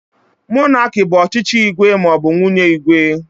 Monarki bụ ọchịchị igwe maọbu nwunye igwe.